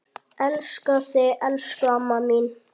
Elska þig, elsku amma mín.